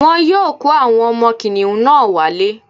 Wọ́n yóò kó àwọn ọmọ kìnìún náà wálé